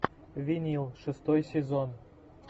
винил шестой сезон